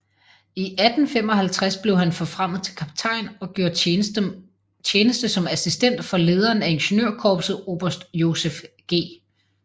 I 1855 blev han forfremmet til kaptajn og gjorde tjeneste som assistent for lederen af ingeniørkorpset oberst Joseph G